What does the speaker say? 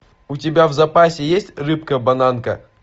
у тебя в запасе есть рыбка бананка